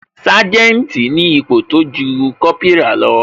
Sanjeti ni ipò tójú Kópírà lọ